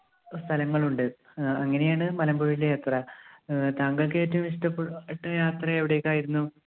സ്ഥലങ്ങളുണ്ട്. ആഹ് അങ്ങനെയാണ് മലമ്പുഴയിലെ യാത്ര. ആഹ് താങ്കൾക്ക് ഏറ്റവും ഇഷ്ടപ്പെട്ട യാത്ര എവിടേയ്ക്കായിരുന്നു?